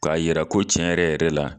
K'a jira ko tiɲɛ yɛrɛ yɛrɛ la